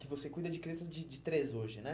Que você cuida de crianças de de três hoje, né?